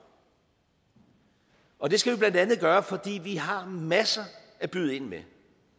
og det skal vi blandt andet gøre fordi vi har masser at byde ind med